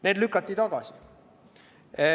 Need lükati tagasi.